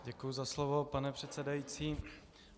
Děkuji za slovo, pane předsedající.